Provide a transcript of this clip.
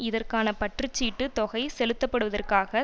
இதற்கான பற்றுச்சீட்டு தொகை செலுத்தப்படுவதற்காக